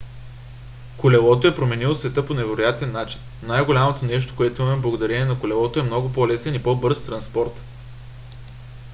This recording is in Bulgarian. колелото е променило света по невероятен начин. най-голямото нещо което имаме благодарение на колелото е много по-лесен и по-бърз транспорт